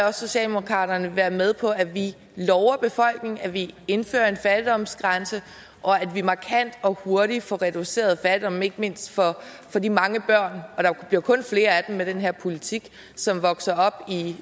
at socialdemokratiet vil være med på at vi lover befolkningen at vi indfører en fattigdomsgrænse og at vi markant og hurtigt får reduceret fattigdommen ikke mindst for de mange børn og der bliver kun flere af dem med den her politik som vokser op